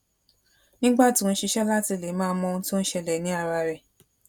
nígbà tó n ṣiṣẹ láti le máa mọ ohun tó n ṣẹlẹ ní ara rẹ